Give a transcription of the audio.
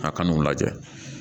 A ka n'u lajɛ